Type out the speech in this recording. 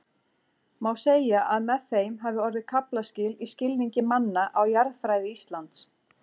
Má segja að með þeim hafi orðið kaflaskil í skilningi manna á jarðfræði Íslands.